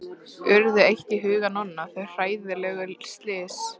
Urðu eitt í huga Nonna, þau hræðilegu slys.